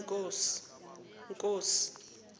nkosi